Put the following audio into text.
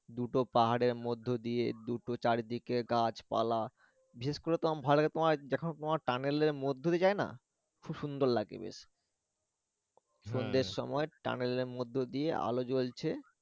দুটো পাহাড়ের মধ্য দিয়ে দুটো চারদিকে গাছপালা বিশেষ তো আমার ভালো লাগে তোমার যখন টানেলের মধ্যে দিয়ে যায় না খুব সুন্দর লাগে দেখতে সন্ধ্যের সময় tunnel এর মধ্যে দিয়ে আলো জলছে।